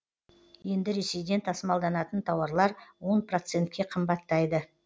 енді ресейден тасымалданатын тауарлар он процентке қымбаттайды